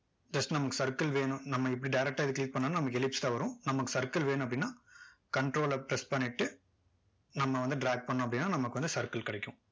just நமக்கு circle வேணும் நம்ம இப்படி direct டா click பண்ணாலும் நமக்கு ellipse தான் வரும் நமக்கு circle வேணும் அப்படின்னா control ல press பண்ணிட்டு நம்ம வந்து drag பண்ணோம் அப்படின்னா நமக்கு வந்து circle கிடைக்கும்